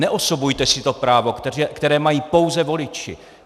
Neosobujte si to právo, které mají pouze voliči.